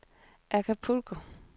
Acapulco